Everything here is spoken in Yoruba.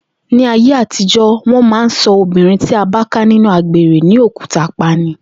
Ní ayé àtijó̩, wó̩n máa ń so̩ obìnrin tí a bá ká nínú àgbèrè ní òkúta pa ni